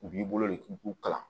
U b'i bolo de u kalan